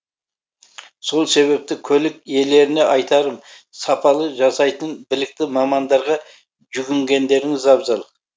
сол себепті көлік иелеріне айтарым сапалы жасайтын білікті мамандарға жүгінгендеріңіз абзал